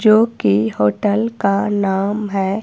जो कि होटल का नाम है--